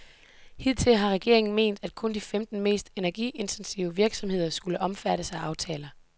Hidtil har regeringen ment, at kun de femten mest energiintensive virksomheder skulle omfattes af aftaler.